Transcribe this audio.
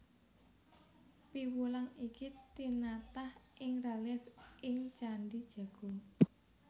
Piwulang iki tinatah ing relief ing Candhi Jago